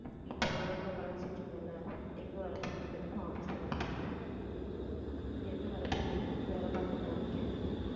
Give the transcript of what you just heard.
நீ போன தடவை கூட கலாய்ச்சிட்டு இருந்த இல்ல எங்க வேலை பார்க்கிறேன்றதுக்கு office ல வேலை பார்க்கிறேன் என்ன வேலை பாக்கறேன்றதுக்கு வேலை பார்த்துட்டுதான் இருக்கேன்